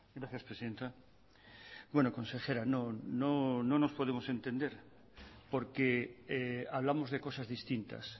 gracias presidenta bueno consejera no nos podemos entender porque hablamos de cosas distintas